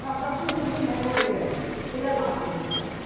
Qardaşım girir həmən evə, elə nağıl eləyiblər.